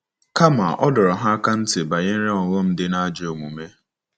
Kama, a dọrọ ha aka ná ntị banyere ọghọm dị na ajọ omume.